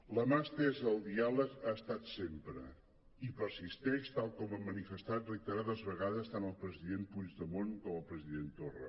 la mà estesa al diàleg hi ha estat sempre i hi persisteix tal com han manifestat reiterades vegades tant el president puigdemont com el president torra